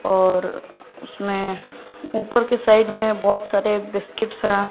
और उसमें ऊपर के साइड में बहोत सारे बिस्किट्स है।